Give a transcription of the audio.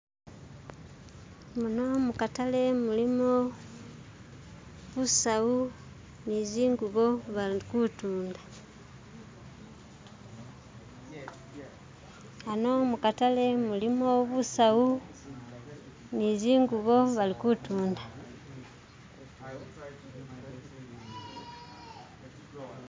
muno mukatale mulimo busawu nizingubo bali kutunda ano mukatale mulimo busawu nizingubo bali kutunda.